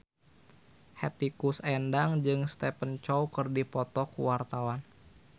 Hetty Koes Endang jeung Stephen Chow keur dipoto ku wartawan